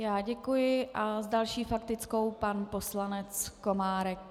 Já děkuji a s další faktickou pan poslanec Komárek.